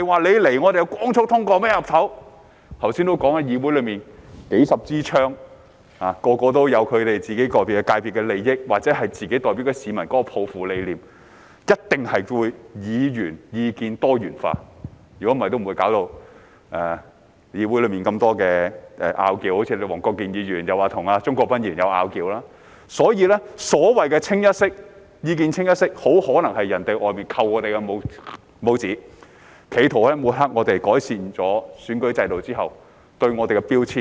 有議員剛才也提到，議會內有數十枝槍，人人也有各自界別的利益，或自己代表的市民抱負和理念，所以一定會出現議員意見多元化，否則議會內也不會有這麼多爭拗——好像有人說黃國健議員及鍾國斌議員有爭拗——所以，所謂的意見"清一色"，很可能是外間向我們"扣帽子"，企圖抹黑我們，在改善了選舉制度後對我們的標籤。